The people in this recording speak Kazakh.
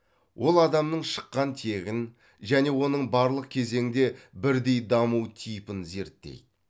ол адамның шыққан тегін және оның барлық кезеңде бірдей даму типін зерттейді